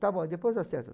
Está bom, depois acerta.